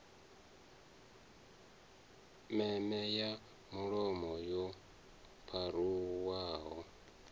meme ya mulomo yo pharuwaho